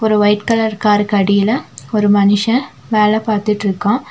ஒரு white colour காருக்கு அடியில ஒரு மனுஷன் வேல பாத்துட்டுருக்கான்.